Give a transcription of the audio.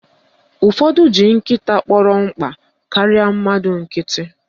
Ụfọdụ ji nkịta kpọrọ mkpa karịa mmadụ nkịtị